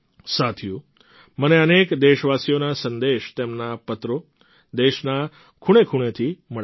સાથીઓ મને અનેક દેશવાસીઓના સંદેશ તેમના પત્રો દેશના ખૂણેખૂણેથી મળે છે